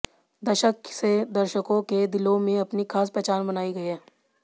दशक से दर्शकों के दिलो में अपनी खास पहचान बनायी है